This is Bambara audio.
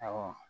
Awɔ